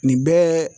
Nin bɛɛ